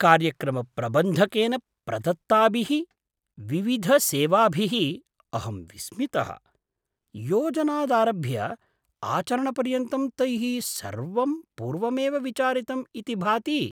कार्यक्रमप्रबन्धकेन प्रदत्ताभिः विविधसेवाभिः अहं विस्मितः। योजनादारभ्य आचरणपर्यन्तं तैः सर्वं पूर्वमेव विचारितम् इति भाति!